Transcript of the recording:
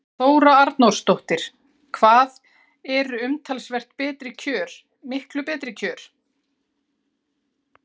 Þóra Arnórsdóttir: Hvað eru umtalsvert betri kjör miklu betri kjör?